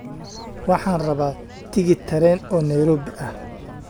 Waxaan rabaa tigidh tareen oo Nairobi ah